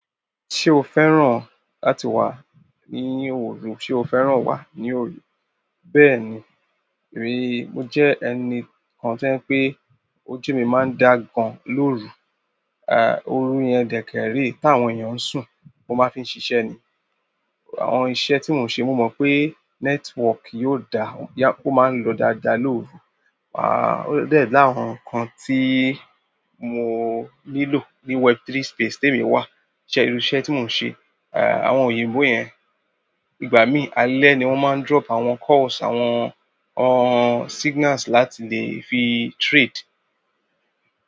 Ṣé o fẹ́ràn láti wà ní òrun? Sé o fẹ́ràn wà ní òru? Bẹ́ẹ̀ni, ríi mo jẹ́ ẹni kan tí wípé ojú mi máa ń dà gan lóru, à, òru yẹn dèkèèrè táwọn èèyàn ń sùn, mo máa ń fi ń ṣiṣẹ́ ni. Àwọn iṣẹ́ tí mò ń ṣe, mo mọ̀ pé network yóò dá, ó máa ń lọ dáadáa lóru. À, ó dà ẹ́ láwon kan tí mo nílò ní web3 space tí èmi wà, iṣẹ́, irú iṣẹ́ tí mò ń ṣe. À, àwọn òyìnbó yẹn, ìgbà mí alẹ́ ni wọ́n máa ń drop àwọn calls, àwọn, àwọn signals láti lè fi trade.